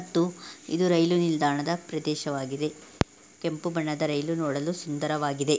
ಇದ್ದು ರೈಲು ನಿಲ್ದಾಣ ಪ್ರದೇಶವಾಗಿದೆ ಕೆಂಪು ಬಣ್ಣದ ರೈಲು ನೋಡಲು ಸುಂದರವಾಗಿದೆ.